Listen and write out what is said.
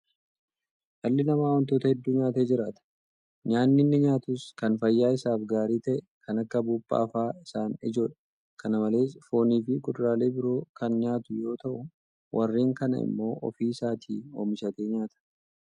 Dhalli namaa waantota hedduu nyaatee jiraata. Nyaanni inni nyaatus kan fayyaa isaaf gaarii ta'e kan akka buuphaa fa'aa isaan ijoodha. Kana malees Fooniifi kuduraalee biroo kan nyaatu yeroo ta'u; warreen kana immoo ofii isaatii oomishatee nyaata.